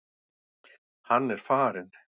Hann er farinn.